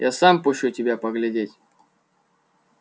я сам пущу тебя поглядеть